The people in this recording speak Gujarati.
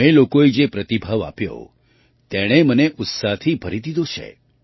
તમે લોકોએ જે પ્રતિભાવ આપ્યો તેણે મને ઉત્સાહથી ભરી દીધો છે